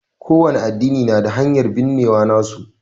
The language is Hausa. ƙo wani addini na da hanyar binnewa nasu.